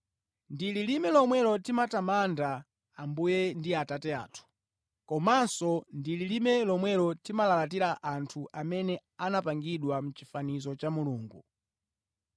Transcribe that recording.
Ndi lilime lomwelo timatamanda Ambuye ndi Atate athu, komanso ndi lilime lomwelo timalalatira anthu, amene anapangidwa mʼchifanizo cha Mulungu.